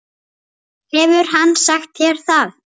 Hefur hann sagt þér það?